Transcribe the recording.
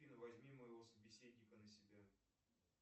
афина возьми моего собеседника на себя